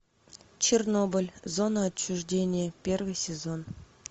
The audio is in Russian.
чернобыль зона отчуждения первый сезон